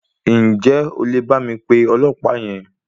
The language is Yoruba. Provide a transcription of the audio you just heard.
Ǹjẹ́ o lè bá mi pe ọlọ̀pàá yẹn?